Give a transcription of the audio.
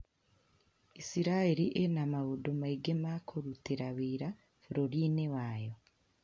Isiraĩri ĩna maũndũ maingĩ makurutĩra wĩra bũrũrinĩ wayo,